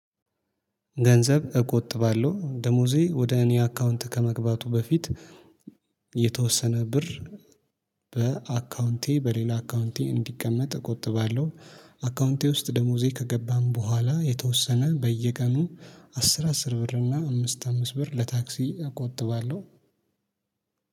ገንዘብ እቆጥባለሁ ደሞዜ ወደ እኔ አካውንት ከመግባቱ በፊት የተወሰነ ብር በአካውንቴ በሌላ አካውንቴ እንዲቀመጥ እቆጥባለሁ። አካውንቴ ውስጥ ደሞዜ ከገባም በኋላ የተወሰነ በየቀኑ አስር አስር ብር እና አምስት አምስት ብር ለታክሲ አቆጥባለሁ።